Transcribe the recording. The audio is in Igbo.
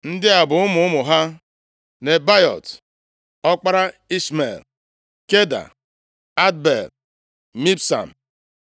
Ndị a bụ ụmụ ụmụ ha: Nebaiot (ọkpara Ishmel), Keda, Adbel, Mibsam,